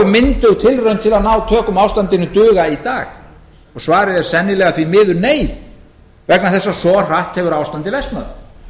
tilraun til að ná tökum á ástandinu duga í dag svarið er sennilega því miður nei vegna þess að svo hratt hefur ástandið versnað